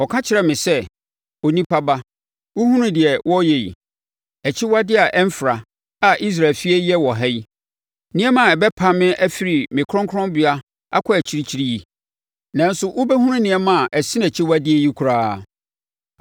Ɔkaa kyerɛɛ me sɛ, “Onipa ba, wohunu deɛ wɔreyɛ yi, akyiwadeɛ a ɛmfra, a Israel fie reyɛ wɔ ha yi, nneɛma a ɛbɛpam me afiri me kronkronbea akɔ akyirikyiri yi? Nanso wobɛhunu nneɛma a ɛsene akyiwadeɛ yi koraa.”